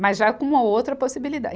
Mas já com uma outra possibilidade.